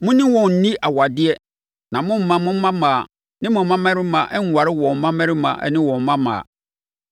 Mo ne wɔn nni awadeɛ na mommma mo mmammaa ne mo mmammarima nnware wɔn mmammarima ne wɔn mmammaa.